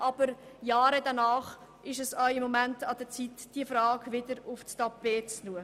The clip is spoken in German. Aber Jahre danach ist es wieder an der Zeit, diese Frage aufs Tapet zu bringen.